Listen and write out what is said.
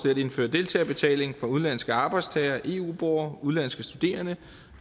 at indføre deltagerbetaling for udenlandske arbejdstagere og eu borgere udenlandske studerende